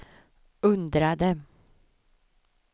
undrade